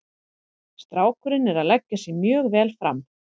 Strákurinn er að leggja sig mjög vel fram.